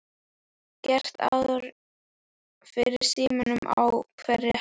Það er gert ráð fyrir símum á hverri hæð.